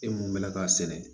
E mun bɛ na k'a sɛnɛ